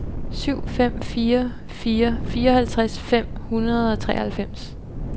syv fem fire fire fireoghalvtreds fem hundrede og treoghalvfems